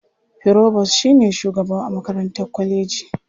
Firobos shi ne shugaba a makarantar kwaleji.